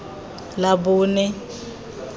labone